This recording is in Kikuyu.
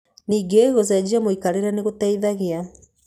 Ningĩ gũcenjia mũikarĩre nĩ gũteithagia.